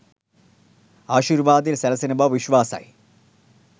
ආශීර්වාදය සැලසෙන බව විශ්වාසයයි